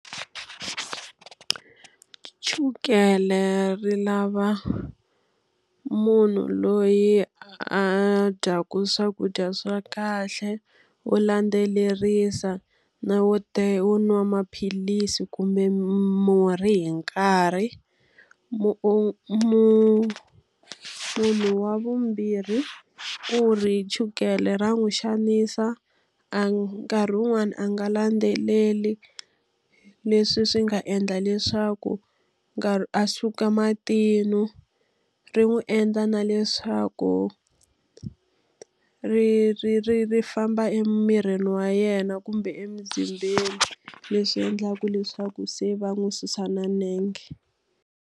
Chukele ri lava munhu loyi a dyaka swakudya swa kahle, wo landzelerisa, na wo wo nwa maphilisi kumbe murhi hi nkarhi. Munhu wa vumbirhi u ri chukele ra n'wi xanisa, a nkarhi wun'wani a nga landzeleli leswi swi nga endla leswaku a suka matino. Ri n'wi endla na leswaku ri ri ri ri famba emirini wa yena kumbe emzimbeni leswi endlaka leswaku se va n'wi susa na nenge.